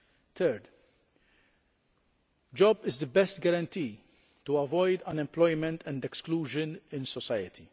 Third, a job is the best guarantee to avoid unemployment and exclusion in society.